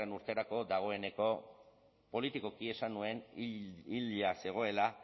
urterako dagoeneko politikoki esan nuen hila zegoela